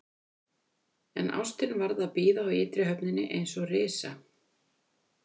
En ástin varð að bíða á ytri höfninni, eins og risa